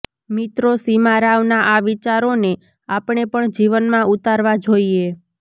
મિત્રો સીમા રાવના આ વિચારોને આપણે પણ જીવનમાં ઉતારવા જોઈએ